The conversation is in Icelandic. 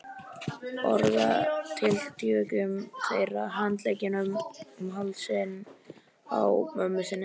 Orðatiltækjunum þeirra, handleggjunum um hálsinn á mömmu sinni.